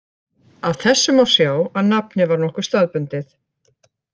Af þessu má sjá að nafnið var nokkuð staðbundið.